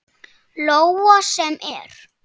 Lóa: Sem er?